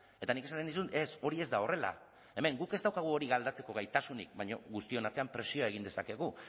eta nik esaten nizun ez hori ez da horrela hemen guk ez daukagu hori aldatzeko gaitasunik baina guztion artean presioa egin dezakegu